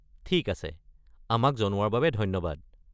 ঠিক আছে, আমাক জনোৱাৰ বাবে ধন্যবাদ।